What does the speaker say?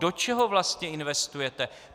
Do čeho vlastně investujete?